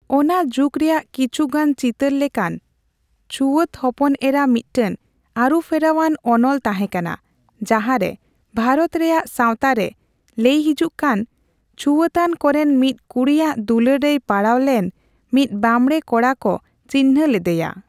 ᱚᱱᱟ ᱡᱩᱜᱽ ᱨᱮᱭᱟᱜ ᱠᱤᱪᱷᱩᱜᱟᱱ ᱪᱤᱛᱟᱹᱨ ᱞᱮᱠᱟᱱ, ᱪᱷᱩᱣᱟᱹᱛ ᱦᱚᱯᱚᱱᱮᱨᱟ ᱢᱤᱫᱴᱟᱝ ᱟᱹᱨᱩᱯᱷᱮᱨᱟᱣᱟᱱ ᱚᱱᱚᱞ ᱛᱟᱦᱮᱸ ᱠᱟᱱᱟ ᱡᱟᱦᱟᱸᱨᱮ ᱵᱷᱟᱨᱚᱛ ᱨᱮᱭᱟᱜ ᱥᱟᱣᱛᱟ ᱨᱮ ᱞᱟᱹᱭ ᱦᱤᱡᱩᱜ ᱠᱟᱱ ᱪᱷᱩᱣᱟᱹᱛᱟᱱ ᱠᱚᱨᱮᱱ ᱢᱤᱫ ᱠᱩᱲᱤᱭᱟᱜ ᱫᱩᱞᱟᱹᱲ ᱨᱮᱭ ᱯᱟᱲᱟᱣ ᱞᱮᱱ ᱢᱤᱫ ᱵᱟᱸᱵᱽᱲᱮ ᱠᱚᱲᱟᱠᱚ ᱪᱤᱱᱦᱟᱹ ᱞᱮᱫᱮᱭᱟ ᱾